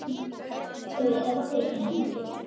Þau héldust í hendur.